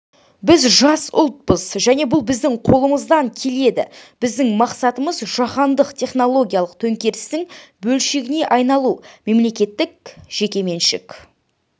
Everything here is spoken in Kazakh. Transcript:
біз жас ұлтпыз және бұл біздің қолымыздан келеді біздің мақсатымыз жаһандық технологиялық төңкерістің бөлшегіне айналу мемлекеттік-жекеменшік